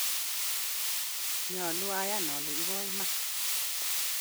nyolu ayan ale ibo iman